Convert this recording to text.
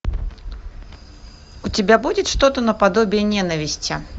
у тебя будет что то наподобие ненависти